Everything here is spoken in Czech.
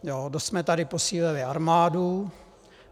Dost jsme tady posílili armádu.